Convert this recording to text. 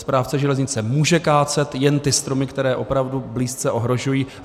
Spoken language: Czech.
Správce železnice může kácet jen ty stromy, které opravdu blízce ohrožují.